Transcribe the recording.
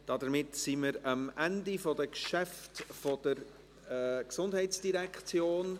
Damit sind wir am Ende der Geschäfte der GEF angelangt.